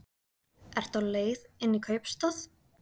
Ertu á leið inn í kaupstað?